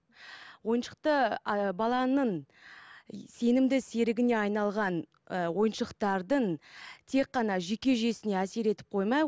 ойыншықты ы баланың е сенімді серігіне айналған ы ойыншықтардың тек қана жүйке жүйесіне әсер етіп қоймай